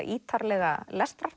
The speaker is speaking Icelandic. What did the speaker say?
ítarlega